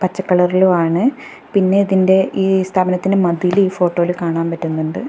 പച്ച കളറിലും ആണ് പിന്നെ ഇതിൻ്റെ ഈ സ്ഥാപനത്തിന്റെ മതില് ഈ ഫോട്ടോയില് കാണാൻ പറ്റുന്നൊണ്ട്.